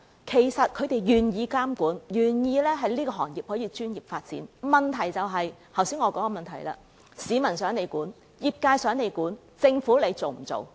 其實，他們是願意接受監管，更願意行業可以作專業發展的，問題在於我剛才所指出之處，就是市民想政府監管、業界想政府監管，那政府做不做呢？